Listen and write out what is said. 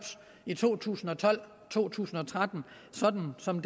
i to tusind og tolv og to tusind og tretten sådan som